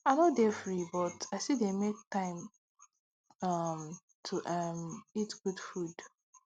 i no dey free but i still dey make time um to um eat good food